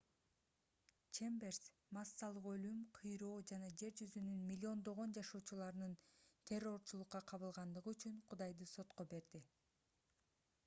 чемберс массалык өлүм кыйроо жана жер жүзүнүн миллиондогон жашоочуларынын террорчулукка кабылгандыгы үчүн кудайды сотко берди